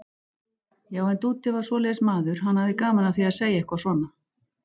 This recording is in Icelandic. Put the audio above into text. Já, en Dúddi var svoleiðis maður, hann hafði gaman af því að segja eitthvað svona.